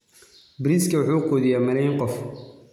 Bariiska wuxuu quudiyaa malaayiin qof.